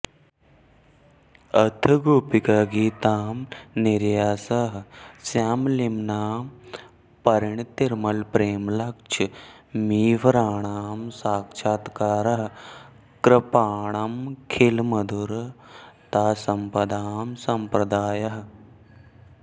अथ गोपिकागीतं निर्यासः श्यामलिम्नां परिणतिरमलप्रेमलक्ष्मीभराणां साक्षात्कारः कृपाणामखिलमधुरतासम्पदां संप्रदायः